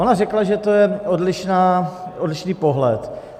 Ona řekla, že to je odlišný pohled.